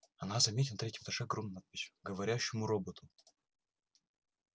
она заметила на третьем этаже огромную надпись к говорящему роботу